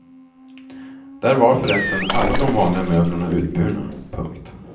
Där var för resten alla de vanliga möblerna utburna. punkt